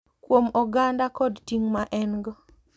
Kuom oganda kod ting’ ma en go .